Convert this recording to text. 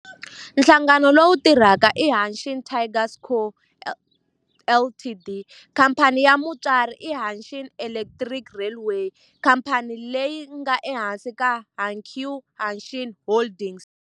Nhlangano lowu tirhaka i Hanshin Tigers Co., Ltd. Khamphani ya mutswari i Hanshin Electric Railway, khamphani leyi nga ehansi ka Hankyu Hanshin Holdings.